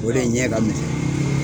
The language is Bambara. O de ɲɛ ka misɛn.